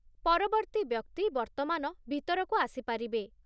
ପରବର୍ତ୍ତୀ ବ୍ୟକ୍ତି ବର୍ତ୍ତମାନ ଭିତରକୁ ଆସିପାରିବେ!